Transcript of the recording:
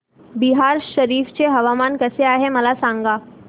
बिहार शरीफ चे हवामान कसे आहे मला सांगा